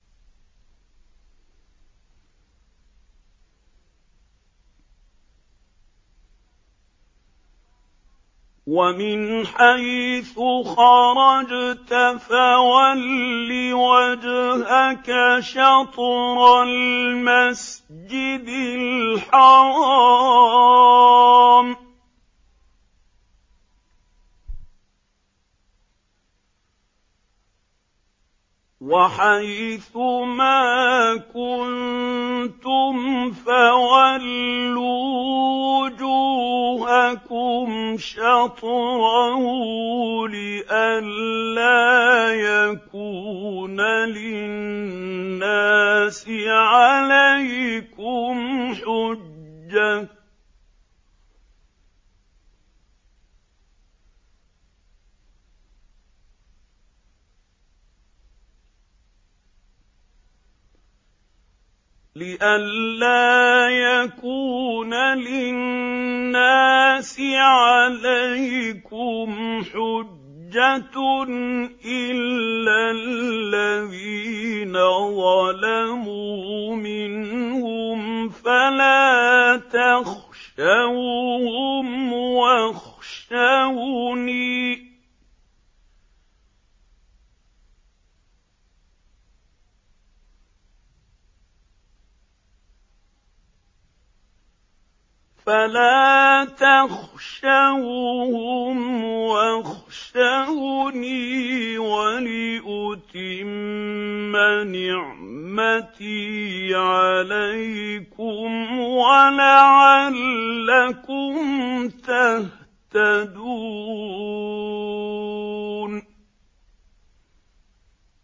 وَمِنْ حَيْثُ خَرَجْتَ فَوَلِّ وَجْهَكَ شَطْرَ الْمَسْجِدِ الْحَرَامِ ۚ وَحَيْثُ مَا كُنتُمْ فَوَلُّوا وُجُوهَكُمْ شَطْرَهُ لِئَلَّا يَكُونَ لِلنَّاسِ عَلَيْكُمْ حُجَّةٌ إِلَّا الَّذِينَ ظَلَمُوا مِنْهُمْ فَلَا تَخْشَوْهُمْ وَاخْشَوْنِي وَلِأُتِمَّ نِعْمَتِي عَلَيْكُمْ وَلَعَلَّكُمْ تَهْتَدُونَ